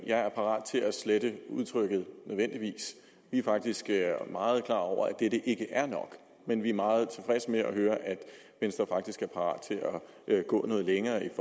jeg er parat til at slette udtrykket nødvendigvis vi er faktisk meget klar over at dette ikke er nok men vi er meget i venstre faktisk er parat til at gå noget længere i